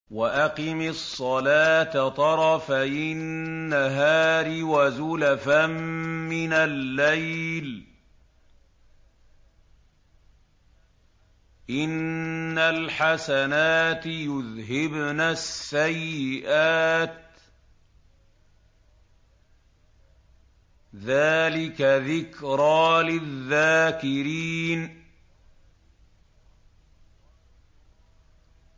وَأَقِمِ الصَّلَاةَ طَرَفَيِ النَّهَارِ وَزُلَفًا مِّنَ اللَّيْلِ ۚ إِنَّ الْحَسَنَاتِ يُذْهِبْنَ السَّيِّئَاتِ ۚ ذَٰلِكَ ذِكْرَىٰ لِلذَّاكِرِينَ